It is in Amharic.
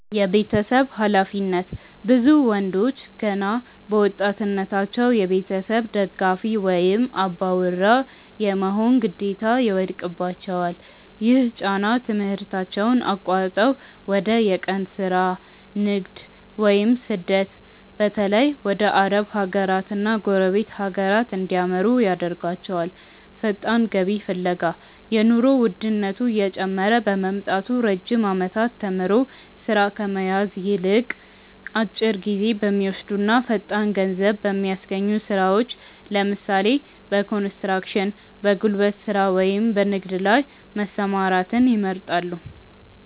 የቤተሰብ ኃላፊነት፦ ብዙ ወንዶች ገና በወጣትነታቸው የቤተሰብ ደጋፊ ወይም "አባወራ" የመሆን ግዴታ ይወድቅባቸዋል። ይህ ጫና ትምህርታቸውን አቋርጠው ወደ የቀን ሥራ፣ ንግድ ወይም ስደት (በተለይ ወደ አረብ ሀገራትና ጎረቤት ሀገራት) እንዲያመሩ ያደርጋቸዋል። ፈጣን ገቢ ፍለጋ፦ የኑሮ ውድነቱ እየጨመረ በመምጣቱ፣ ረጅም ዓመታት ተምሮ ሥራ ከመያዝ ይልቅ፣ አጭር ጊዜ በሚወስዱና ፈጣን ገንዘብ በሚያስገኙ ሥራዎች (ለምሳሌ፦ በኮንስትራክሽን፣ በጉልበት ሥራ ወይም በንግድ) ላይ መሰማራትን ይመርጣሉ።